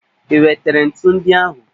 I wetere ntu ndị ahụ?